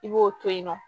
I b'o to yen nɔ